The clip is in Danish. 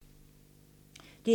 DR1